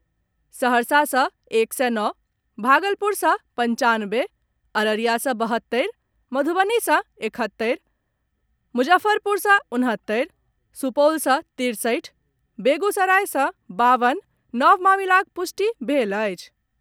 सहरसा सॅ एक सय नओ, भागलपुर सॅ पंचानवे, अररिया सॅ बहत्तरि, मधुबनी सॅ एकहत्तरि, मुजफ्फरपुर से उनहत्तरि, सुपौल सॅ तिरसठि, बेगूसराय सॅ बावन नव मामिलाक पुष्टि भेल अछि।